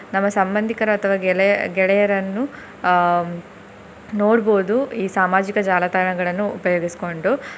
ನಮ್ಮ ಸಂಬಂಧಿಕರು ಅಥವಾ ಗೆಲೆಯ~ ಗೆಳೆಯರನ್ನು ಹ್ಮ್ ನೋಡ್ಬೋದು ಈ ಸಾಮಾಜಿಕ ಜಾಲತಾಣಗಳನ್ನು ಉಪಯೋಗಿಸ್ಕೊಂಡು.